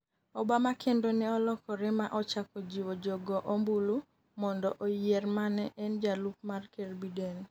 Obama kendo ne olokore ma ochako jiwo jo go ombulu mondo ayier mane en jalup mar ker Biden